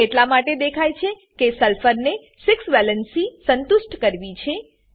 આ એટલા માટે દેખાય છે કે સલ્ફર સલ્ફર ને 6 વેલ્ન્સી સંતુષ્ટ કરવી છે